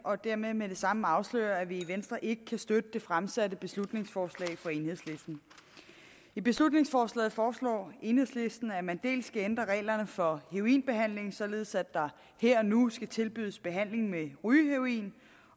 og dermed med det samme afsløre at vi i venstre ikke kan støtte det fremsatte beslutningsforslag fra enhedslisten i beslutningsforslaget foreslår enhedslisten at man dels skal ændre reglerne for heroinbehandling således at der her og nu skal tilbydes behandling med rygeheroin